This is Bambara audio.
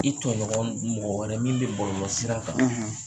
I tɔɲɔgɔn mɔgɔ wɛrɛ min bɛ bɔlɔlɔsira kan.